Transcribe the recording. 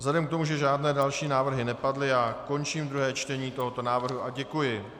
Vzhledem k tomu, že žádné další návrhy nepadly, já končím druhé čtení tohoto návrhu a děkuji.